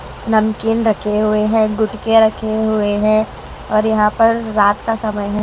नमकीन रखे हुए हैं गुटके रखे हुए हैं और यहां पर रात का समय है।